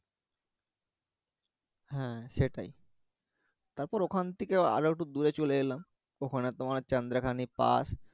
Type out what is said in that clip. হ্যা সেটাই তারপর ওখান থেকে আরো একটু দূরে চলে এলাম ওখানে তোমার চন্দ্রাখানি পাস